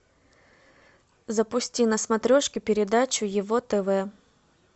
запусти на смотрешке передачу его тв